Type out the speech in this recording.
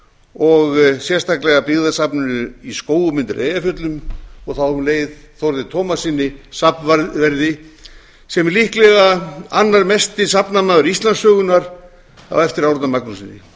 og sérstaklega byggðasafninu í skógum undir eyjafjöllum og þá um leið þórði tómassyni safnverði sem er líklega annar mesti safnamaður íslandssögunnar á eftir árna magnússyni